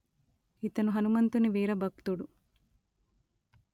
ఇతను హనుమంతుని వీర భక్తుడు